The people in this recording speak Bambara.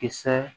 Kisɛ